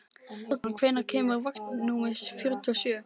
Morgan, hvenær kemur vagn númer fjörutíu og sjö?